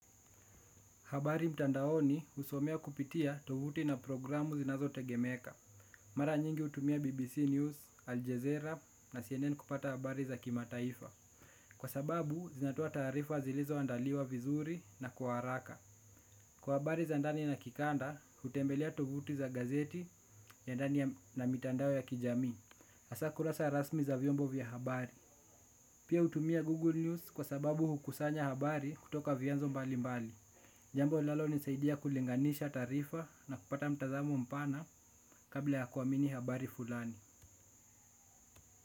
Habari mtandaoni husomewa kupitia tovuti na programu zinazotegemeka. Mara nyingi hutumia BBC News, Al Jazeera na CNN kupata habari za kimataifa. Kwa sababu, zinatoa taarifa zilizoandaliwa vizuri na kwa haraka. Kwa habari za ndani na kikanda, hutembelia tovuti za gazeti ya ndani na mitandao ya kijamii. Hasa kurasa rasmi za vyombo vya habari. Pia hutumia Google News kwa sababu hukusanya habari kutoka vyanzo mbalimbali. Jambo linalonisaidia kulinganisha taarifa na kupata mtazamo mpana kabla ya kuamini habari fulani.